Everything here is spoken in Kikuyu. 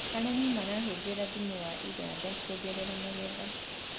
arĩmi marahuthira thumu wa iwanda kuongerera magetha